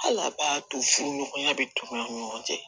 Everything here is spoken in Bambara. Hali a b'a to furuɲɔgɔnya bɛ tunu an ni ɲɔgɔn cɛ